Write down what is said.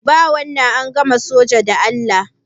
Ba wannan, an gama soja da Allah.